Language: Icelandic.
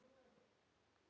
Karen Eva.